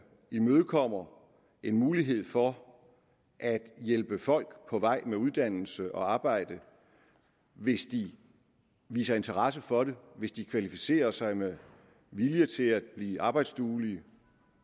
imødekommer en mulighed for at hjælpe folk på vej med uddannelse og arbejde hvis de viser interesse for det hvis de kvalificerer sig med vilje til at blive arbejdsduelige